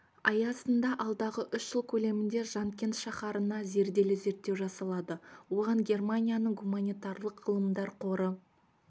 аясында алдағы үш жыл көлемінде жанкент шаһарына зерделі зерттеу жасалады оған германияның гуманитарлық ғылымдар қоры